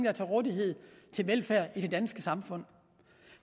er til rådighed til velfærd i det danske samfund